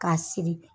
K'a siri